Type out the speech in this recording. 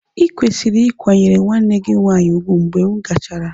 Ịkwesịrị ịkwanyere nwanne gị nwanyị ùgwù mgbe m gachara.